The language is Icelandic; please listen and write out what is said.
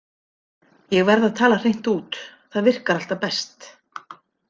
Ég verð að tala hreint út, það virkar alltaf best.